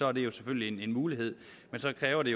er det selvfølgelig en mulighed men så kræver det